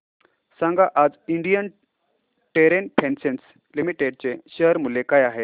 सांगा आज Indian Terrain Fashions Limited चे शेअर मूल्य काय आहे